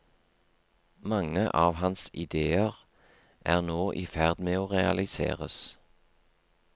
Mange av hans idéer er nå i ferd med å realiseres.